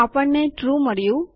આપણને ટ્રૂ મળ્યું